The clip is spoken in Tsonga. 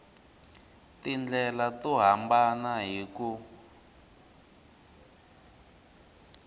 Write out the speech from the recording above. tindlela to hambana hi ku